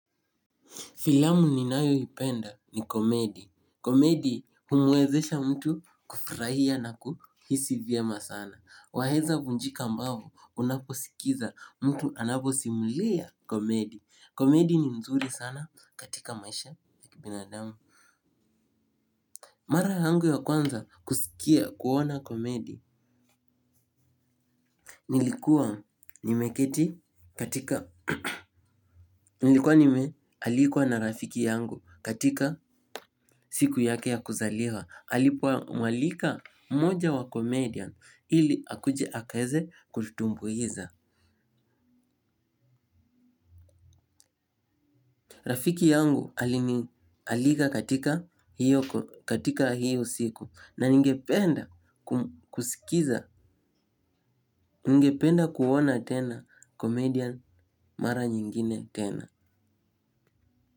Filamu ninayoipenda ni komedi. Komedi humwezesha mtu kufurahia na kuhisi vyema sana. Waeza vunjika mbavu unaposikiza mtu anaposimulia komedi. Komedi ni mzuri sana katika maisha ya kibinadamu. Mara yangu ya kwanza kusikia kuona komedi. Nilikuwa nimeketi katika nilikuwa nimealikwa na rafiki yangu katika siku yake ya kuzaliwa. Alipomwalika mmoja wa comedian ili akuje akaeze kututumbuiza. Rafiki yangu alinialika katika hiyo siku na ningependa kusikiza, ningependa kuona tena comedian mara nyingine tena.